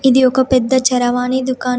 ఇది ఒక పెద్ద చరవాణి దుకాణం.